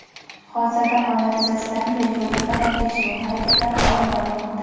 Hozirda holat yuzasidan tergovga qadar tekshiruv harakatlari olib borilmoqda.